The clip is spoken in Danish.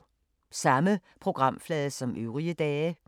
Samme programflade som øvrige dage